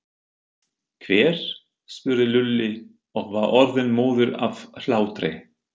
Hver? spurði Lúlli og var orðinn móður af hlátri.